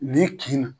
Nin kin